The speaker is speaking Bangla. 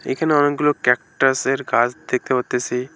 এখানে অনেকগুলো ক্যাকটাসের গাছ দেখতে পারতাসি।